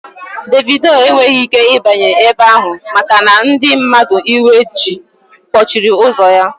Dévido enweghị ike ịbanye ebe ahụ maka na ndị mmadụ iwe ji gbochiri ụzọ ya